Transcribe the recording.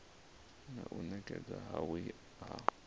na u nekedzwa havhui ha